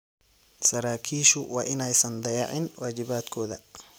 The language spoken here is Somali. Saraakiishu waa inaysan dayacin waajibaadkooda.